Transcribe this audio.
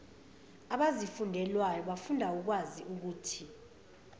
abazifundelwayo bafunda ukwaziukuthi